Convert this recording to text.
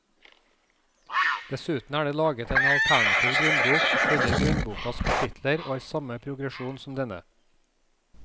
Dessuten er det laget en alternativ grunnbok som følger grunnbokas kapitler og har samme progresjon som denne.